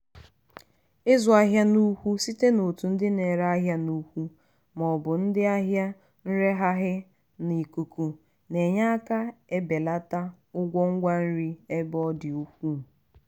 ịzụ ahịa n'ukwu site n'otu ndị na-ere ahịa n'ukwu ma ọ bụ ndị ahịa nreghaghị n'ikuku na-enye aka ebelata ụgwọ ngwa nri ebe ọ dị ukwuu.